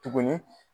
Tuguni